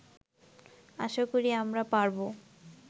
আশা করি আমরা পারবো